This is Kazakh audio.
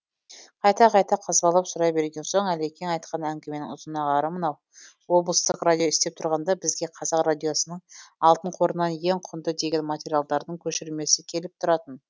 қайта қайта қазбалап сұрай берген соң әлекең айтқан әңгіменің ұзынағары мынау облыстық радио істеп тұрғанда бізге қазақ радиосының алтын қорынан ең құнды деген материалдардың көшірмесі келіп тұратын